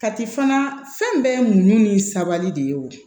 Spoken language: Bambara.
Kati fana fɛn bɛɛ ye mun ni sabali de ye o